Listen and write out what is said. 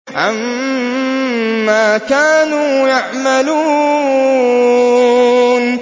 عَمَّا كَانُوا يَعْمَلُونَ